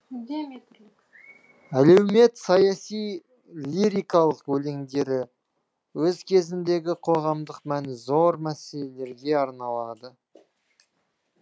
әлеумет саяси лирикалық өлеңдері өз кезіндегі қоғамдық мәні зор мәселелерге арналады